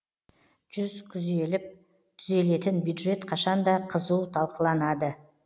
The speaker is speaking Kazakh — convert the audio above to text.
жүз күзеліп түзелетін бюджет қашанда қызу талқыланады